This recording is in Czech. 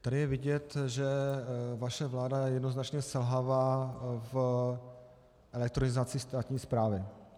Tady je vidět, že vaše vláda jednoznačně selhává v elektronizaci státní správy.